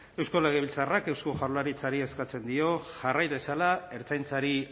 eusko legebiltzarrak eusko jaurlaritzari eskatzen dio jarrai dezala ertzaintzari